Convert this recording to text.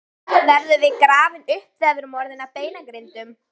Verðum við grafin upp þegar við erum orðin að beinagrindum?